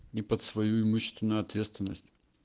и под свою имущественную ответственность